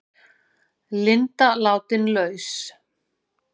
Linda látin laus